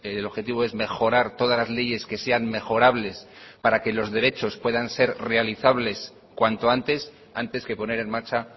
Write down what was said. el objetivo es mejorar todas las leyes que sean mejorables para que los derechos puedan ser realizables cuanto antes antes que poner en marcha